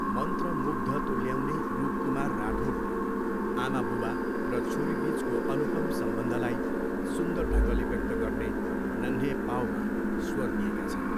मन्त्रमुग्ध तुल्याउने रूप कुमार राठोडले आमाबुबा र छोरीबिचको अनुपम सम्बन्धलाई सुन्दर ढङ्गले व्यक्त गर्ने 'नन्हे पाव' मा स्वर दिएका छन्।